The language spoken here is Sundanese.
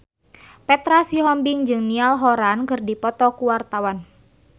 Petra Sihombing jeung Niall Horran keur dipoto ku wartawan